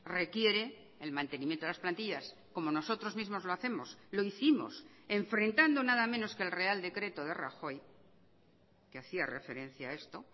requiere el mantenimiento de las plantillas como nosotros mismos lo hacemos lo hicimos enfrentando nada menos que el real decreto de rajoy que hacía referencia a esto